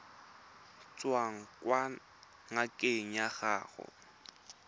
tswang kwa ngakeng ya gago